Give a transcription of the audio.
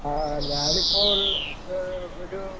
ആ ഞാനിപ്പ ഉള്ള ആ ഒരു